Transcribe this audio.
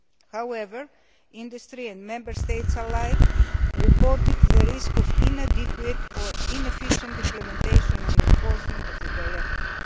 However, industry and Member States alike have reported the risk of inadequate or inefficient implementation and enforcement of the directive.